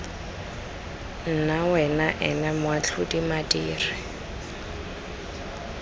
nna wena ena matlhaodi madiri